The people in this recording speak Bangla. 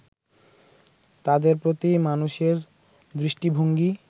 তাদের প্রতি মানুষের দৃষ্টিভঙ্গি